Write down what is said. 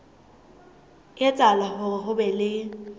etsahala hore ho be le